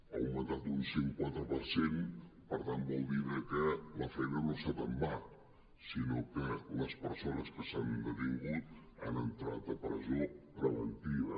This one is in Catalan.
ha augmentat un cent i quatre per cent per tant vol dir que la feina no ha estat en va sinó que les persones que s’han detingut han entrat a presó preventiva